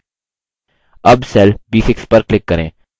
अब cell b6 पर click करें